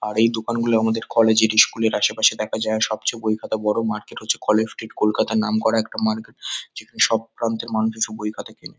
আর এই দোকানগুলো আমাদের কলেজ -এর ইস্কুল -এর আশেপাশে দেখা যায়। সবচেয়ে বই খাতার বড়ো মার্কেট হচ্ছে কলেজ স্ট্রিট কলকাতা র নাম করা একটা মার্কেট যেখানে সব টাউন থেকে মানুষ এসে বই খাতা কেনে।